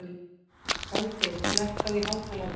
Baldey, lækkaðu í hátalaranum.